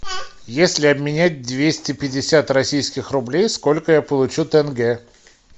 если обменять двести пятьдесят российских рублей сколько я получу тенге